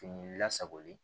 Fini lasagolen